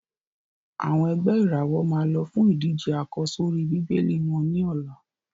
Àwọn ẹ̀gbẹ́ ìràwọ̀ máa lọ fún ìdíje àkọ́sórí Bíbélì wọ́n ní ọ̀la.